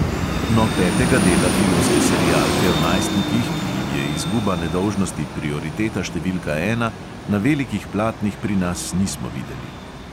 No, petega dela filmske serialke o najstnikih, ki jim je izguba nedolžnosti prioriteta številka ena, na velikih platnih pri nas nismo videli.